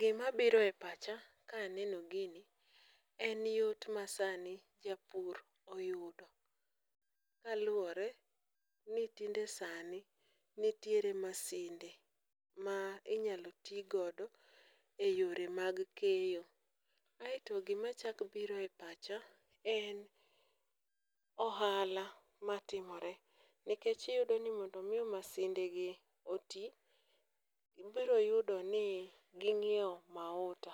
Gimabiro e pacha ka aneno gini en yot ma sani japur oyudo kaluwore ni tinde sani nitiere ,masinde ma inyalo ti godo e yore mag keyo, aeto gimachako biro e pacha en ohala matimore nikech iyudo ni mondo omi masindegi oti, ibiro yudo ni ging'iewo mahuta,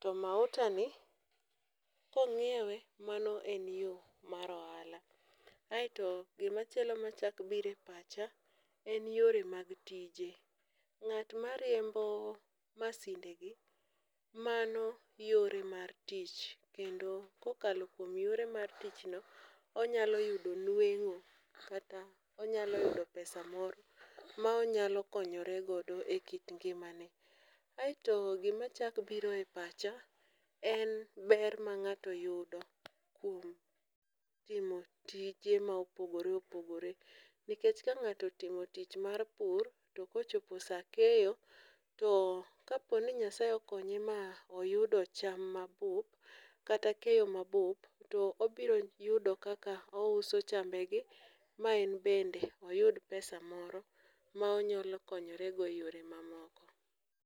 to mahutani, kong'iewe mano en yo mar ohala, aeto gimachielo machako biro e pacha en yore mag tije, ng'at mariembo masindegi mano en yore mar tich kendo kokalo kuom yore mar tichno, onyalo yudo nweng'o kata onyalo yudo pesa moro ma onyalo konyore godo e kit ngimane, aeto gimachako biro e pacha en ber ma ng'ato yudo kuom timo tije ma opogore opogore, nikech ka ng'ato otimo tich mar pur, to kochopo sa keyo to kaponi Nyasaye okonye ma oyudo cham mabup kata keyo mabup, to obiro yudo kaka ouso chambegi ma en bende oyud pesa moro ma onyalo konyorego e yore mamoko.